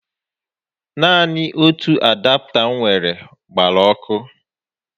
Naanị otu adapta m nwèrè gbara ọkụ